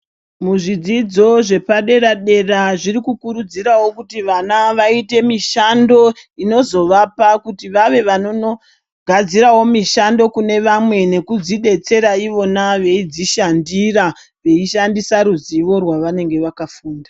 Muzvidzidzo zvepadera dera zviri kukurudzirawo kuti vana vaite mishando inozovapa kuti vave vanonogadzirawo mishando kune vamwe nekudzidetsera ivona veidzishandira veishandisa ruzivo rwavanenge vakafunda.